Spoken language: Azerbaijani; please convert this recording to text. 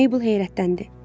Mabel heyrətləndi.